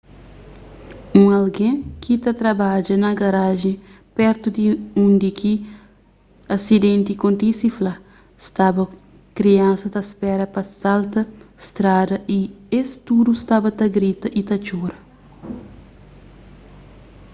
un algen ki ta trabadja na garajen pertu di undi ki asidenti kontise fla staba kriansas ta spera pa salta strada y es tudu staba ta grita y ta txora